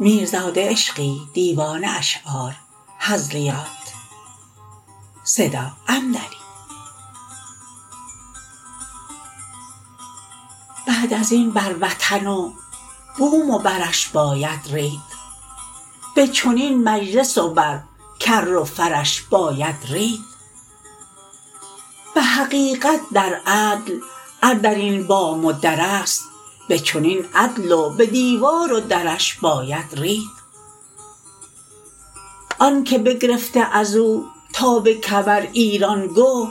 بعد ازین بر وطن و بوم و برش باید رید به چنین مجلس و بر کر و فرش باید رید به حقیقت در عدل ار در این بام و در است به چنین عدل و به دیوار و درش باید رید آن که بگرفته از او تا به کمر ایران گه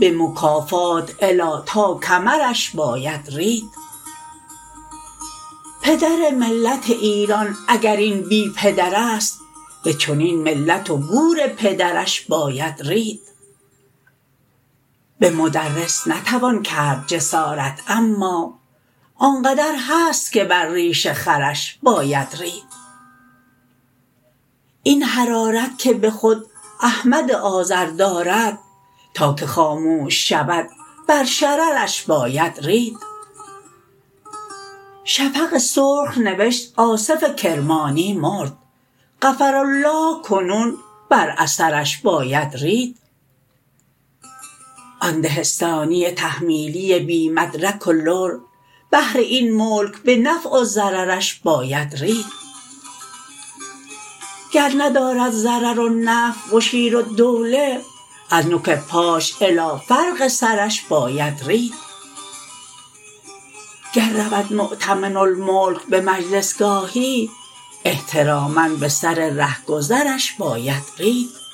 به مکافات الی تا کمرش باید رید پدر ملت ایران اگر این بی پدر است به چنین ملت و گور پدرش باید رید به مدرس نتوان کرد جسارت اما آنقدر هست که بر ریش خرش باید رید این حرارت که به خود احمد آذر دارد تا که خاموش شود بر شررش باید رید شفق سرخ نوشت آصف کرمانی مرد غفرالله کنون بر اثرش باید رید آن دهستانی تحمیلی بی مدرک و لر بهر این ملک به نفع و ضررش باید رید گر ندارد ضرر و نفع مشیرالدوله از نوک پاش الی فرق سرش باید رید گر رود مؤتمن الملک به مجلس گاهی احتراما به سر رهگذرش باید رید